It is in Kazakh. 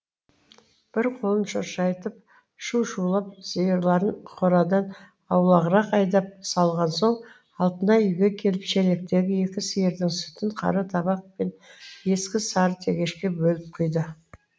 бір қолын шошайтып шу шулеп сиырларын қорадан аулағырақ айдап салған соң алтынай үйге келіп шелектегі екі сиырдың сүтін қара табақ пен ескі сары тегешке бөліп құйды